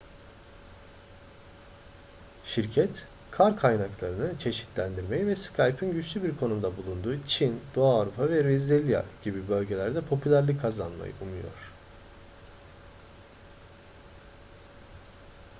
şirket kar kaynaklarını çeşitlendirmeyi ve skype'ın güçlü bir konumda bulunduğu çin doğu avrupa ve brezilya gibi bölgelerde popülerlik kazanmayı umuyor